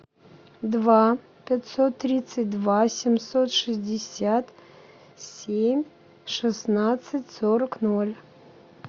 два пятьсот тридцать два семьсот шестьдесят семь шестнадцать сорок ноль